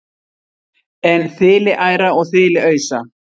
en þiliæra og þiliausa